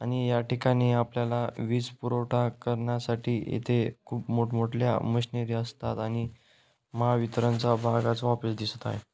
आणि याठिकाणी आपल्याला वीज पुरवठा करण्यासाठी येथे खूप मोठ मोठल्या मशीनरी असतात आणि महावितरणचा भागाचा ऑफिस दिसत आहे.